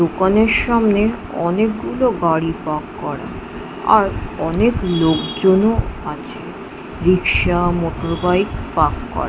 দোকানের সামনে অনেকগুলো গাড়ি পার্ক করা আর অনেক লোকজনও আছে রিক্সা মোটর বাইক পার্ক করা।